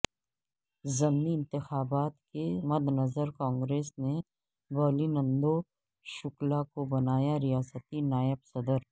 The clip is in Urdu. ضمنی انتخابات کے مدنظر کانگریس نے بالیندو شکلا کو بنایا ریاستی نائب صدر